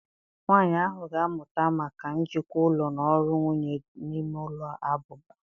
Nwanyị ahụ ga-amụta maka njikwa ụlọ na ọrụ nwunye n'ime ụlọ abụba.